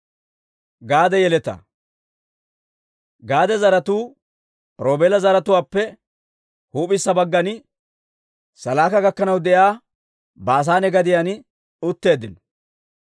Gaade zaratuu Roobeela zaratuwaappe huup'issa baggan, Salaaka gakkanaw de'iyaa Baasaane gadiyaan utteeddino.